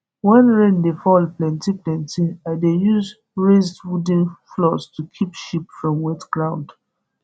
when rain dey fall plenty plenty i dey use raised wooden floors to keep sheep from wetground